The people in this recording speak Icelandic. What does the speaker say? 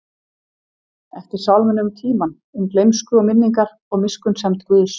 eftir sálminum um tímann, um gleymsku og minningar, og miskunnsemd Guðs.